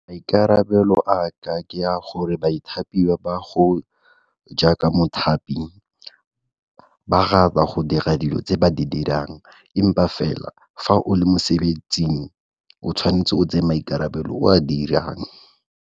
Maikarabelo a ka ke a gore baithapiwa ba go jaaka mothapi ba ga ba go dira dilo tse ba di dirang empa fela fa o le mosebetsing o tshwanetse o tseye maikarabelo o a dirang.